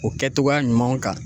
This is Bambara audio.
O kɛ togoya ɲumanw kan.